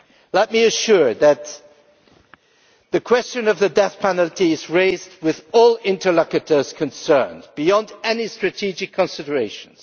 Let me assure you that the question of the death penalty is raised with all interlocutors concerned, beyond any strategic considerations.